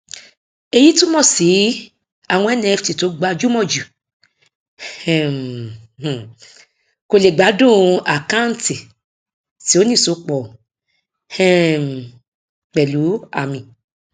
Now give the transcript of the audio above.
èyí túmọ sí àwọn nft tó gbajúmọ jù um kò lè gbádùn àkáǹtì tí ó ní ìsopọ um pẹlú àmì